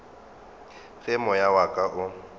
ge moya wa ka o